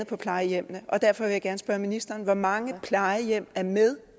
på plejehjemmene og derfor vil jeg gerne spørge ministeren hvor mange plejehjem er med